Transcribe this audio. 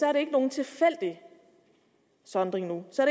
er det ikke nogen tilfældig sondring nu så